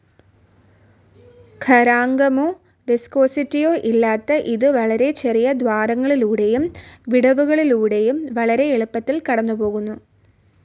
ഖരാങ്കമോ, viscosity ഇല്ലാത്ത ഇത് വളരെ ചെറിയ ദ്വാരങ്ങളിലൂടെയും വിടവുകളിലൂടെയും വളരെ എളുപ്പത്തിൽ കടന്നു പോകുന്നു.